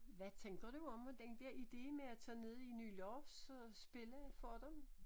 Hvad tænker du om den der ide med at tage ned i Nylars og spille for dem?